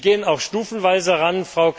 Wir gehen auch stufenweise heran.